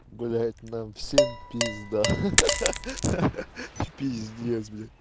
блядь нам всем пизда пизбец блядь